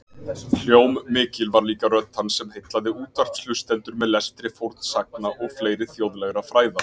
Hljómmikil var líka rödd hans sem heillaði útvarpshlustendur með lestri fornsagna og fleiri þjóðlegra fræða.